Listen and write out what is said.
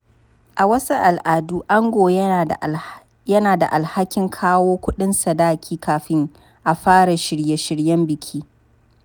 A wasu al’adu, ango yana da alhakin kawo kudin sadaki kafin a fara shirye-shiryen biki.